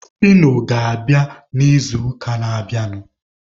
Fino ga-abịa n'izuụka na-abịanụ.